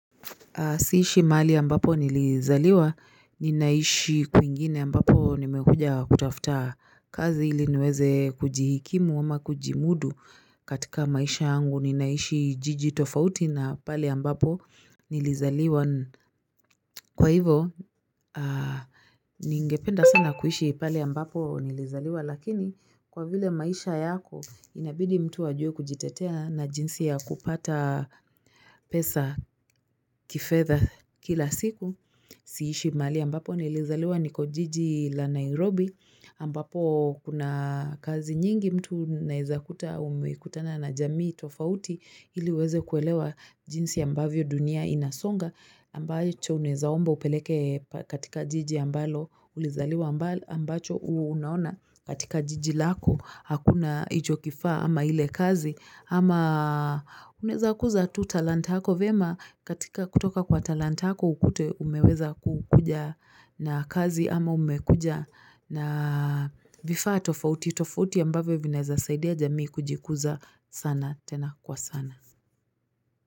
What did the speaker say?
Siishi mali ambapo nilizaliwa, ninaishi kuingine ambapo nimekuja kutafuta kazi iliniweze kujihikimu ama kujimudu katika maisha angu ninaishi jijitofauti na pali ambapo nilizaliwa. Kwa hivo, ningependa sana kuishi pali ambapo nilizaliwa lakini kwa vile maisha yako inabidi mtu ajue kujitetea na jinsi ya kupata pesa kifedha kila siku. Siishi mali ambapo na ilizaliwa niko jiji la Nairobi ambapo kuna kazi nyingi mtu naizakuta umekutana na jamii tofauti ili uweze kuelewa jinsi ambavyo dunia inasonga ambacho unezaombo upeleke katika jiji ambalo ulizaliwa ambacho unaona katika jiji lako hakuna ijo kifaa ama ile kazi ama uneza kuza tu talenta hako vyema katika kutoka kwa talenta hako ukute umeweza kukuja na kazi ama umekuja na vifaa tofauti, tofauti ambavyo vinaweza saidia jamii kujikuza sana, tena kwa sana.